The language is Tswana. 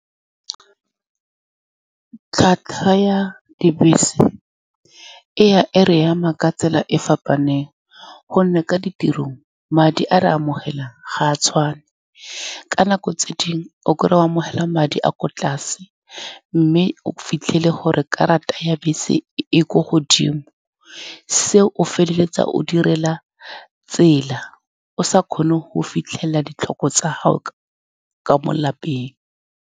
Tlhwatlhwa ya dibese e ya e re ama ka tsela e e fapaneng, ka gonne ka ditirong madi a re a amogelang ga a tshwane. Ka nako tse dingwe o kry-e o amogela madi a a kwa tlase, mme o fitlhele gore karata ya bese e-e ko godimo. Se o feleletsa o direla tsela o sa kgone go fitlhelela ditlhoko tsa gago ka mo lapeng.